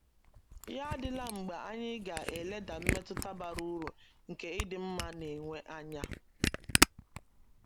Ya adịla mgbe anyị ga - eleda mmetụta bara uru nke ịdị mma na - enwe anya.